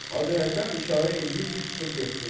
Hacı Həsən işarə eləyir ki, çıxıb getsin.